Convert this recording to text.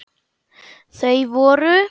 Þau voru